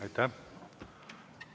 Aitäh!